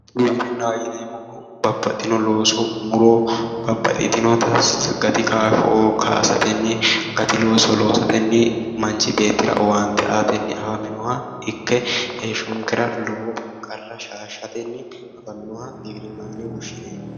Giwirinahho yineemohu Babbaxino looso muro babbaxitinota gati kaasho kaasatenni gati looso loosatenni manichi beetira owaanite aatenni afaminoha ikke heeshonikera lowo qarra shaashatenni afaminoha giwirinahho yine woshineemo